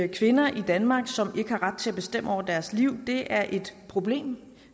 kvinder i danmark som ikke har ret til at bestemme over deres liv er et problem